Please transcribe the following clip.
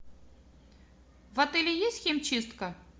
в отеле есть химчистка